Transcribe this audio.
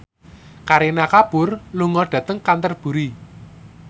Kareena Kapoor lunga dhateng Canterbury